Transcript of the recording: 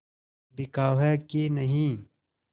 बिकाऊ है कि नहीं